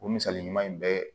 O misali ɲuman in bɛɛ